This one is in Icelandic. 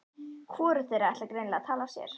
Hvorugt þeirra ætlar greinilega að tala af sér.